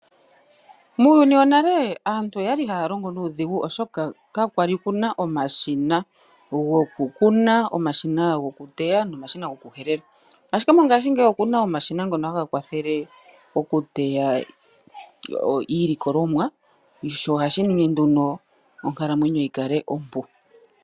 Muuyuni wonale aantu okwali haya longo nuudhigu oshoka kakwali kuna omashina gokukuna ,omashina go kuteya nomashina goku helela, ashike mongaashingeyi okuna omashina ngono haga kwathele okuteya iilikolomwa sho ohashi ningi nduno onkalamwenyo yikale ompu.